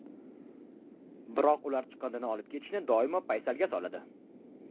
Biroq ular chiqindini olib ketishni doimo paysalga soladi.